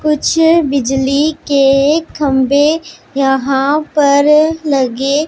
कुछ बिजली के खंभे यहां पर लगे--